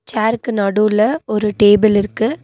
சேருக்கு நடுவுல ஒரு டேபிள் இருக்கு.